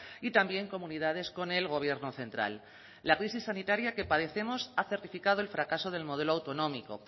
y también comunidades con el gobierno central la crisis sanitaria que padecemos ha certificado el fracaso del modelo autonómico